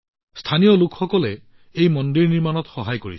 স্থানীয় লোকসকলে এই মন্দিৰ নিৰ্মাণত যথেষ্ট সহায় কৰিছে